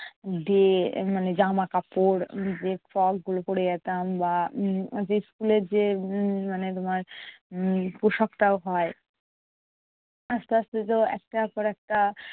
Dress মানে জামাকাপড় যে frock গুলো পরে যেতাম বা উম যে school এর যে উম মানে তোমার উম পোশাকটাও হয়। আস্তে আস্তে তো একটার পর একটা